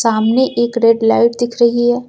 सामने एक red light दिख रही है।